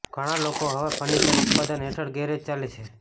ઘણા લોકો હવે ફર્નિચર ઉત્પાદન હેઠળ ગેરેજ ચાલે છે